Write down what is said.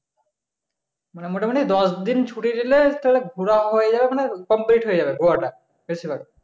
মানে মোটামুটি দশদিন ঘোরাও হয়ে যাবে মানে complete হয়ে যাবে ঘোরাটা